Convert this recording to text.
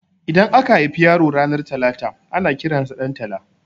Idan aka haifi yaro ranar talata ana kiransa Ɗantala